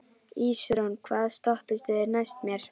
Ísrún, hvaða stoppistöð er næst mér?